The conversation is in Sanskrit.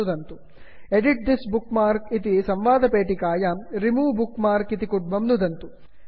edit this bookmark edit this bookmark इति संवादपेटिकायां remove bookmark remove bookmark इत्यत्र नुदन्तु